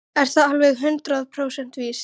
Er það alveg hundrað prósent víst?